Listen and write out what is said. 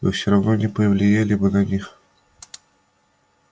вы всё равно не повлияли бы на них